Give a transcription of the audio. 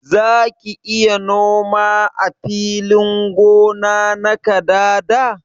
Zaki iya noma ã filin gona na kadada?